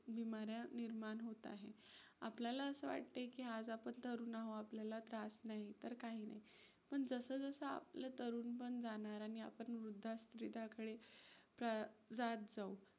बीमाऱ्या निर्माण होत आहेत. आपल्याला असं वाटतंय की आज आपण तरुण आहोत, आपल्याला त्रास नाही तर काही नाही. पण जसं जसं आपलं तरुणपण जाणार आणि आपण वृद्धा शरीराकडे जात जाऊ.